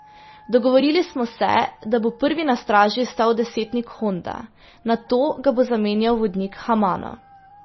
Dogovorili smo se, da bo prvi na straži stal desetnik Honda, nato ga bo zamenjal vodnik Hamano.